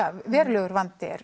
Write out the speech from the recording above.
verulegur vandi er